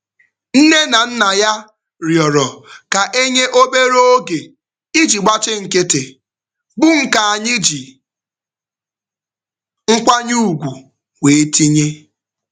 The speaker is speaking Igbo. Nne na nna ya rịọrọ ka e nye obere oge iji gbachi nkịtị, bụ nke anyị ji nkwanye ugwu wee tinye.